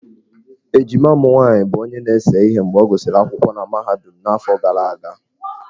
Ejima m nwaanyị bụ onye na-ese ihe mgbe ọ gụsịrị akwụkwọ na mahadum n'afọ gara aga.